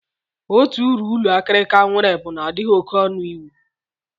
Otu uru ụlọ akịrịka nwere bụ na ọ dịghị oké ọnụ iwu